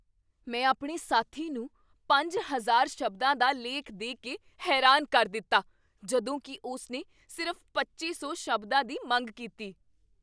ਮੈਂ ਆਪਣੇ ਸਾਥੀ ਨੂੰ ਪੰਜ ਹਜ਼ਾਰ ਸ਼ਬਦਾਂ ਦਾ ਲੇਖ ਦੇ ਕੇ ਹੈਰਾਨ ਕਰ ਦਿੱਤਾ ਜਦੋਂ ਕੀ ਉਸਨੇ ਸਿਰਫ਼ ਪੱਚੀ ਸੌ ਸ਼ਬਦਾਂ ਦੀ ਮੰਗ ਕੀਤੀ